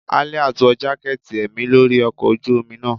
Aliat wọ jaketí emí lori ọkọ ojú omí naa